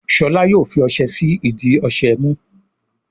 Shola yóò fí ọṣẹ sí ìdí ọṣẹ mú